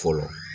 Fɔlɔ